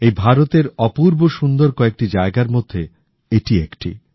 এই ভারতের অপূর্ব সুন্দর কয়েকটি জায়গার মধ্যে এটি একটি